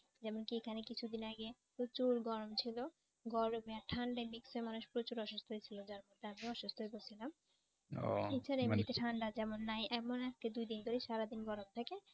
যেমন কি এখানে কিছুদিন আগে প্রচুর গরম ছিল। গরমে আর ঠান্ডার mix এ মানুষ প্রচুর অসুস্থ হয়েছিল যার ফলে আমিও অসুস্থ হয়ে পড়ছিলাম ঠান্ডা তেমন নাই এমন আজকে দুদিন ধরে সারাদিন গরম থাকে